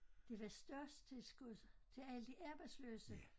Det var statstilskud til alle de arbejdsløse